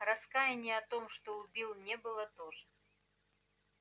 раскаяния в том что убил не было тоже